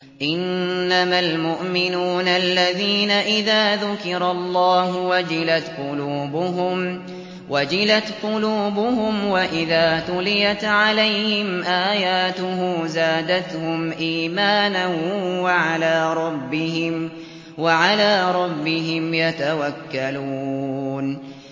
إِنَّمَا الْمُؤْمِنُونَ الَّذِينَ إِذَا ذُكِرَ اللَّهُ وَجِلَتْ قُلُوبُهُمْ وَإِذَا تُلِيَتْ عَلَيْهِمْ آيَاتُهُ زَادَتْهُمْ إِيمَانًا وَعَلَىٰ رَبِّهِمْ يَتَوَكَّلُونَ